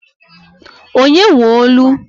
Onye nwe olu?